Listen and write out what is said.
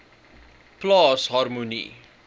plaas harmonie